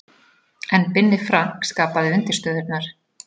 En Binni Frank skapaði undirstöðurnar.